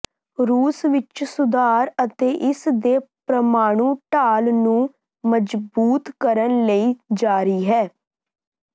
ਰੂਸ ਵਿੱਚ ਸੁਧਾਰ ਅਤੇ ਇਸ ਦੇ ਪ੍ਰਮਾਣੂ ਢਾਲ ਨੂੰ ਮਜ਼ਬੂਤ ਕਰਨ ਲਈ ਜਾਰੀ ਹੈ